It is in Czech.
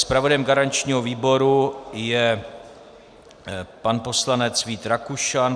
Zpravodajem garančního výboru je pan poslanec Vít Rakušan.